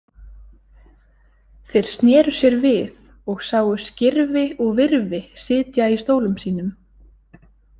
Þeir sneru sér við og sáu Skirfi og Virfi sitja í stólum sínum.